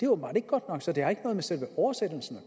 åbenbart ikke godt nok så det har ikke noget med selve oversættelsen